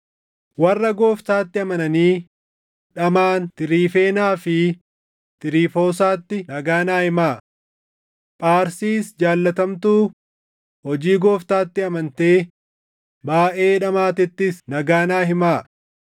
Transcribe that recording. Warra Gooftaatti amananii dhamaʼan Tiriifeenaa fi Tiriifoosaatti nagaa naa himaa. Pharsiis jaallatamtuu hojii Gooftaatti amantee baayʼee dhamaatettis nagaa naa himaa.